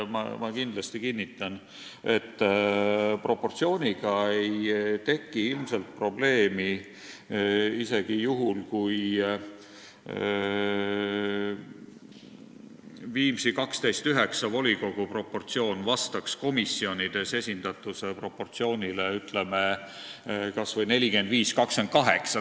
Ma kinnitan, et proportsiooniga ei tekiks ilmselt probleemi isegi juhul, kui Viimsi volikogu proportsioonile 12 : 9 vastaks komisjonides esindatuse proportsioon, ütleme, kas või 45 : 28.